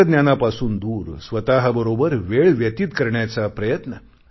तंत्रज्ञानापासून दूर स्वतःबरोबर वेळ व्यतीत करण्याचा प्रयत्न